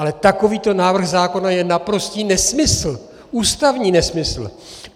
Ale takovýto návrh zákona je naprostý nesmysl, ústavní nesmysl.